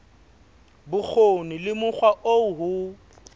bokgoni le mokgwa oo ho